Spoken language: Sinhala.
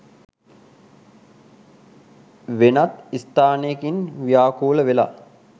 වෙනත් ස්ථානයකින් ව්‍යාකූලවෙලා